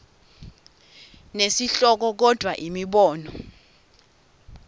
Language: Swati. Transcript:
nesihloko kodvwa imibono